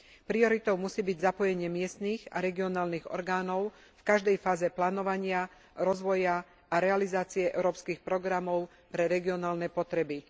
Prioritou musí byť zapojenie miestnych a regionálnych orgánov v každej fáze plánovania, rozvoja a realizácie európskych programov pre regionálne potreby.